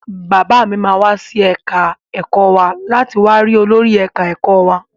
Bàbá mi máa wá sí ẹ̀ka ẹ̀kọ́ wa láti wá ri olórí ẹ̀ka ẹ̀kọ́ wa.